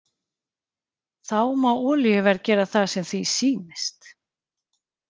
Þá má olíuverð gera það sem því sýnist.